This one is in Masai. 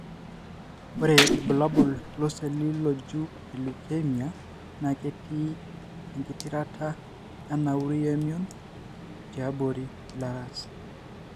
Ore ilbulabul loseli lojuu elukemia na ketii engitirata, enauri wemion tiabori ilaras.